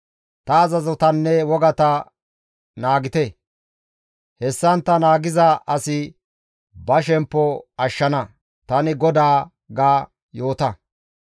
Ta azazotanne wogata naagite; hessantta naagiza asi ba shemppo ashshana; tani GODAA› ga yoota.